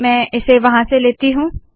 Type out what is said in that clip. मैं इसे वहाँ से लती हूँ